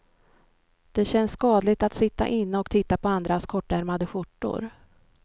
Det känns skadligt att sitta inne och titta på andras kortärmade skjortor.